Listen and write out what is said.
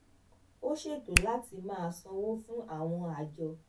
ó ṣètò láti máa sanwó fún àwọn àjọ